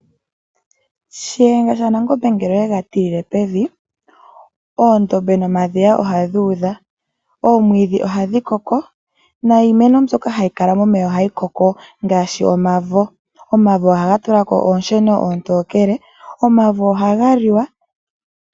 Shiyenga shaNangombe ngele oyega tilile pevi, oondombe nomadhiya ohadhi udha. Oomwiidhi ohadhi koko niimeno mbyoka hayi kala momeya ohayi koko, ngaashi omavo. Omavo ohaga tula ko oonsheno oontokele. Omavo ohaga liwa.